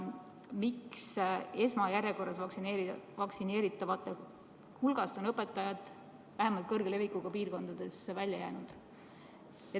Miks esmajärjekorras vaktsineeritavate hulgast on õpetajad, vähemalt kõrge levikuga piirkondades, välja jäänud?